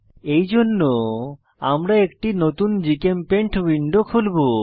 এইজন্য আমরা একটি নতুন জিচেমপেইন্ট উইন্ডো খুলবো